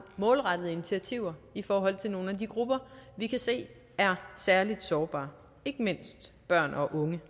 målrettede initiativer i forhold til nogle af de grupper vi kan se er særlig sårbare ikke mindst børn og unge